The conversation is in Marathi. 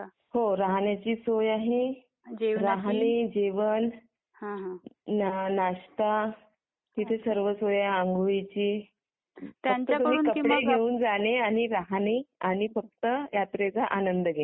हो राहण्याची सोय आहे राहणे जेवण नाश्ता तिथे सर्व सोय आहे आंघोळीची त्यांच्याकडून किंवा राहणे, कपडे घेऊन जाणे राहणे आणि फक्त यात्रेचा आनंद घेणे.